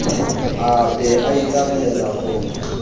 a be a itsamaele ho